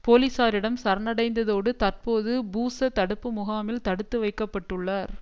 போலிசாரிடம் சரணடைந்ததோடு தற்போது பூஸ்ஸ தடுப்பு முகாமில் தடுத்துவைக்கப்பட்டுள்ளார்